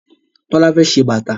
Tola fè ṣe bàtá